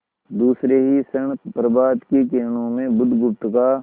दूसरे ही क्षण प्रभात की किरणों में बुधगुप्त का